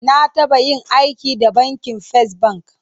Na taba yin aiki da bankin First Bank.